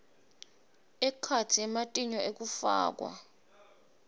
ekhatsi ematinyo ekufakwa